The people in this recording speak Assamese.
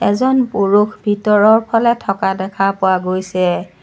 এজন পুৰুষ ভিতৰৰফালে থকা দেখা পোৱা গৈছে।